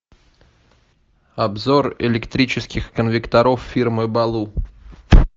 обзор электрических конвекторов фирмы балу